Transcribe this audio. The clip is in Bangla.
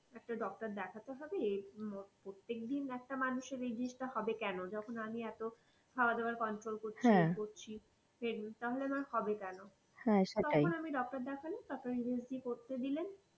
একটা doctor দেখাতেই হবেই প্রত্যেক দিন একটা মানুষের এই জিনিস তা হবে কেন? যখন আমি এত খাওয়াদাওয়া control করছি, ইযে করছি তাহলে আমার হবে কেন? তখন আমি doctor দেখলাম, তারপর USG করতে দিলেন।